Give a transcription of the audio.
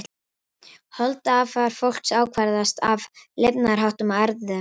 Holdafar fólks ákvarðast af lifnaðarháttum og erfðum.